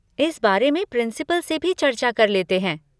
इस बारे में प्रिंसिपल से भी चर्चा कर लेते हैं।